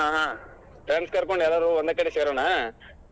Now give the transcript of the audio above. ಹಾ friends ನೆಲ್ಲ ಕರಕೊಂಡ ಎಲ್ಲಾರೂ ಒಂದ ಕಡೆ ಸೇರೋಣ.